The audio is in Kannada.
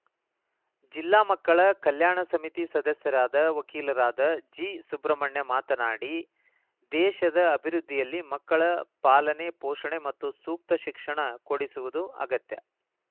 ಜಿಲ್ಲಾ ಮಕ್ಕಳ ಕಲ್ಯಾಣ ಸಮಿತಿ ಸದಸ್ಯರಾದ ವಕೀಲರಾದ ಜಿಸುಬ್ರಹ್ಮಣ್ಯ ಮಾತನಾಡಿ ದೇಶದ ಅಭಿವೃದ್ಧಿಯಲ್ಲಿ ಮಕ್ಕಳ ಪಾಲನೆ ಪೋಷಣೆ ಮತ್ತು ಸೂಕ್ತ ಶಿಕ್ಷಣ ಕೊಡಿಸುವುದು ಅಗತ್ಯ